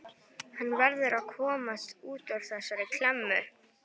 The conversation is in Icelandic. Hann verður að komast út úr þessari klemmu.